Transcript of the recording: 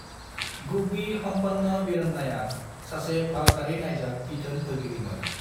गुब्बी हम्पन्ना वीरन्नाया सासे भारतारि नायजाब बिथोन होगिरिमोन।